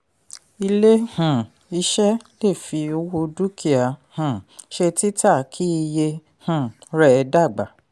ilé um iṣẹ́ lè fi owó dúkìá um ṣe tita kí iye um rẹ̀ dàgbà.